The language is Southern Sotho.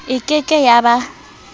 e ke ke ya ba